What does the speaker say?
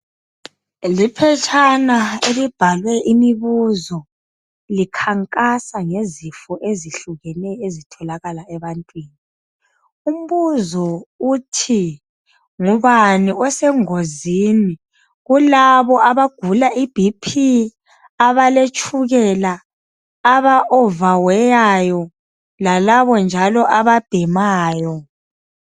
Liphetshana elibhalwe imibuzo likhankasa ngezifo ezehlukeneyo ezitholakala ebantwini , umbuzo uthi ngubani osengozini kulabo abagula I BP , abaletshukela aba over weyayo , lalabo njalo ababhemayo